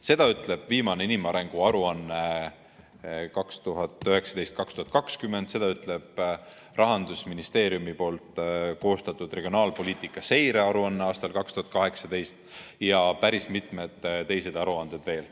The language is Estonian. Seda ütleb viimane inimarengu aruanne 2019/2020, seda ütleb Rahandusministeeriumi koostatud regionaalpoliitika seirearuanne aastal 2018 ja päris mitu teist aruannet veel.